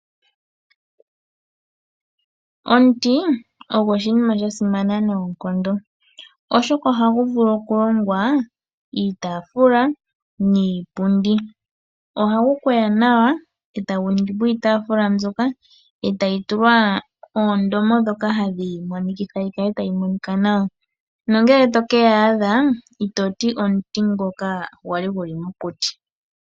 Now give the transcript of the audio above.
Omuti ogo oshinima sha simana noonkondo, oshoka ohagu vulu oku longwa iitaafula, niipundi. Ohagu kweya nawa etagu ningi po iitaafula mbyoka etayi tulwa oondomo ndhoka hadhi yi monikitha yi kale tayi monika nawa, nongele to keeyadha itoti omuti ngoka gwali gu li mokuti.